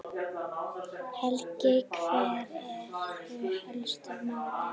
Helgi, hver eru helstu málin?